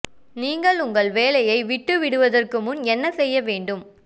நீங்கள் உங்கள் வேலையை விட்டு விடுவதற்கு முன் என்ன செய்ய வேண்டும்